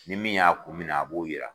Ni min y'a kun minɛ a b'o yira.